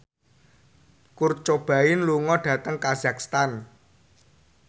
Kurt Cobain lunga dhateng kazakhstan